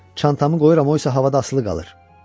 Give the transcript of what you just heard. Baxın, çantamı qoyuram, o isə havada asılı qalır.